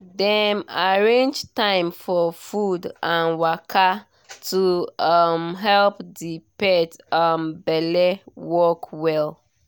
dem arrange time for food and waka to um help the pet um belle work well.